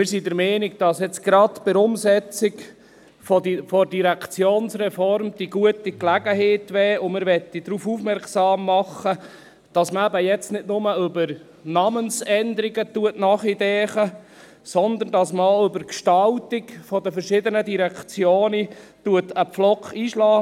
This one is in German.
Wir sind der Meinung, dass gerade die Umsetzung der Direktionsreform die gute Gelegenheit wäre – und darauf möchten wir aufmerksam machen –, dass man eben jetzt nicht nur über Namensänderungen nachdenkt, sondern dass man auch über die Gestaltung der verschiedenen Direktionen einen Pflock einschlägt.